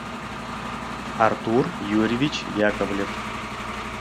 артур юрьевич яковлев